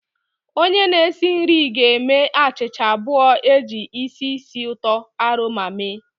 Onye na-esi nri ga-eme achịcha abụọ e ji isi ísì uto oroma mee